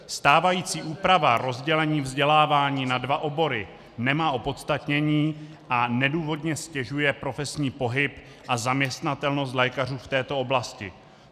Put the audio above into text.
Stávající úprava rozdělení vzdělávání na dva obory nemá opodstatnění a nedůvodně stěžuje profesní pohyb a zaměstnatelnost lékařů v této oblasti.